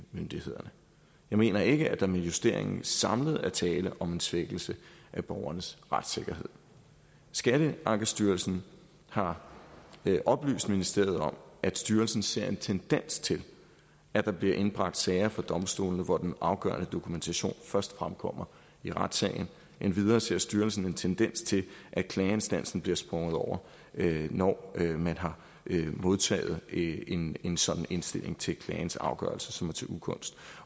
myndighederne jeg mener ikke at der med justeringen samlet er tale om en svækkelse af borgernes retssikkerhed skatteankestyrelsen har oplyst ministeriet om at styrelsen ser en tendens til at der bliver indbragt sager for domstolene hvor den afgørende dokumentation først fremkommer i retssagen endvidere ser styrelsen en tendens til at klageinstansen bliver sprunget over når man har modtaget en en sådan indstilling til klagens afgørelse som er til ugunst